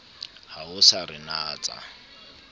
ha o sa re natsa